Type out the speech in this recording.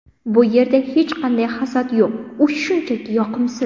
Bu yerda hech qanday hasad yo‘q, u shunchaki yoqimsiz.